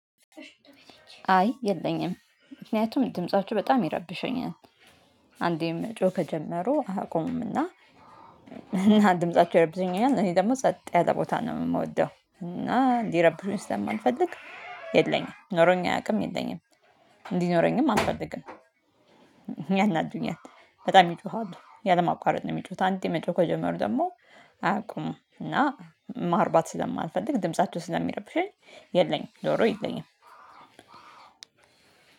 አይ የለኝም ምክንያቱም ድምጻቸው በጣም ይረብሸኛል። አንዴ መጮህ ከጀመሩ አያቆሙም እና። እና ድምጻቸው ይረብሸኛል እኔ ደግሞ ጸጥ ያለ ቦታ ነው የምወደው እና ሊረብሹኝ ስለማልፈልግ። የለኝም ኖሮኝ አያውቅም የለኝም። እንዲኖረኝም አልፈልግም። ያናዱኛል በጣም ይጮሃሉ ያለማቋረጥ ነው የሚጮሁት። አንዴ መጮህ ከጀመሩ ደግሞ አያቆሙም። እና ማርባት ስለማልፈልግ ድምፃቸው ስለሚረብሸኝ የለኝም። ዶሮ የለኝም።